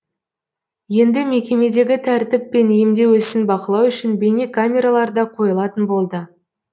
енді мекемедегі тәртіп пен емдеу ісін бақылау үшін бейнекамералар да қойылатын болды